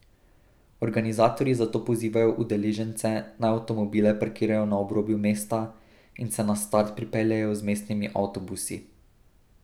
Organizatorji zato pozivajo udeležence, naj avtomobile parkirajo na obrobju mesta in se na start pripeljejo z mestnimi avtobusi.